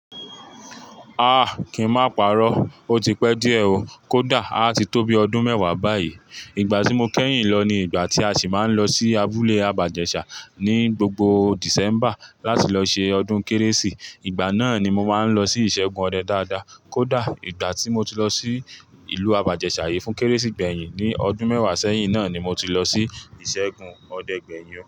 Ah! Kìí má parọ́, ó ti pẹ́ díẹ̀ ó, kódà a ti tó bí ọdún mẹ́wàá báyìí. Ìgbà tí mo kẹ́yìn lọ ni ìgbà tí a sì máa ń lọ sí abúlé Abàjẹ́ṣà ní gbogbo December láti lọ ṣe ọdún Kérésì. Ìgbà náà ni mo máa ń lọ sí ìṣẹ́gun ọdẹ dáadáa, kódà ìgbà tí mo ti lọ sí ìlú Abàjẹ́ṣà yìí fún Kérésì gbẹ̀yìn ní ọdún mẹ́wàá sẹ́yìn náà ni mo ti lọ sí ìṣẹ́gun ọdẹ gbẹ̀yìn wọn.